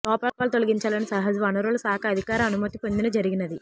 లోపాలు తొలగించాలనే సహజ వనరుల శాఖ అధికార అనుమతి పొందిన జరిగినది